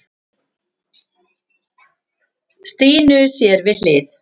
Stínu sér við hlið.